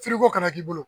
ko kana k'i bolo